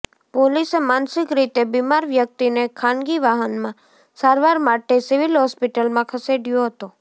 પોલીસે માનસિક રીતે બિમાર વ્યક્તિને ખાનગી વાહનમાં સારવાર માટે સિવિલ હોસ્પિટલમાં ખસેડયો હતો